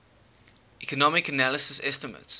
economic analysis estimates